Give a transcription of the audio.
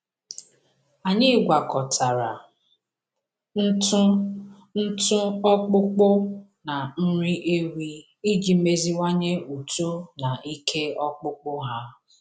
Anyị gwakọtara ntụ ntụ ọkpụkpụ na nri ewi iji meziwanye uto na ike ọkpụkpụ ha.